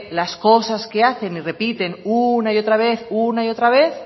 las cosas que hacen y repiten una y otra vez una y otra vez